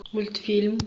мультфильм